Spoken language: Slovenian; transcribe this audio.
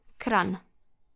Kranj.